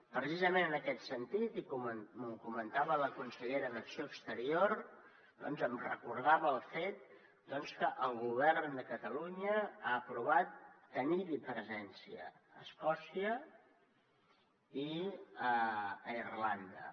precisament en aquest sentit i com comentava la consellera d’acció exterior em recordava el fet que el govern de catalunya ha aprovat tenir hi presència a escòcia i a irlanda